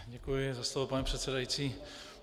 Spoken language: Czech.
Děkuji za slovo, pane předsedající.